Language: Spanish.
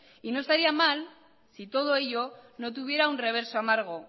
y no estaría mal si todo eso no tuviera un reverso amargo